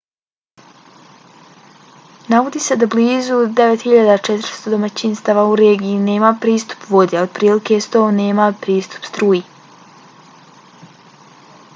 navodi se da blizu 9400 domaćinstava u regiji nema pristup vodi a otprilike 100 nema pristup struji